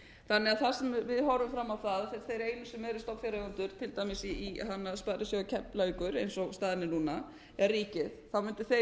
þannig að þar sem við horfum fram á það að þeir einu sem eru stofnfjáreigendur til dæmis í sparisjóði keflavíkur eins og staðan er núna er ríkið mundu þeir